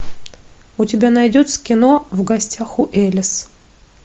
у тебя найдется кино в гостях у элис